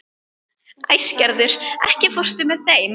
Æsgerður, ekki fórstu með þeim?